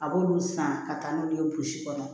A b'olu san ka taa n'olu ye burusi kɔnɔ